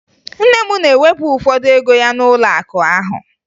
Nne m na-ewepụ ụfọdụ ego ya n'ụlọakụ ahụ